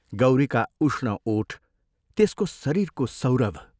गौरीका उष्ण ओठ त्यसको शरीरको सौरभ!